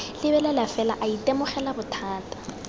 lebelela fela a itemogela bothata